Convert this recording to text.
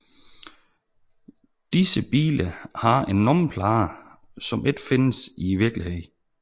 Disse biler har nummerplader som ikke findes i virkeligheden